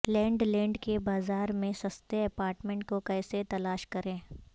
land land کے بازار میں سستے اپارٹمنٹ کو کیسے تلاش کریں